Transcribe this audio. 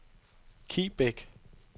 Kibæk